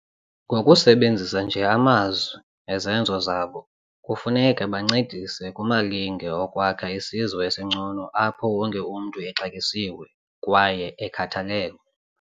Ngokusebenzisa nje amazwi nezenzo zabo, kufuneka bancedise kumalinge okwakha isizwe esingcono apho wonke umntu exatyisiwe kwaye ekhathalelwe.